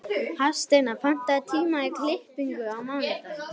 Hafsteina, pantaðu tíma í klippingu á mánudaginn.